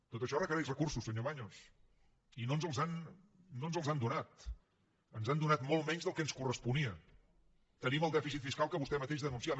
tot això requereix recursos senyor baños i no ens els han donat ens han donat molt menys del que ens corresponia tenim el dèficit fiscal que vostè mateix denunciava